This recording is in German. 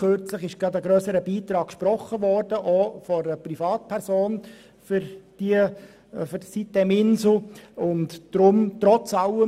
Kürzlich wurde sitem-insel gerade von einer Privatperson ein grösserer Beitrag zugesprochen.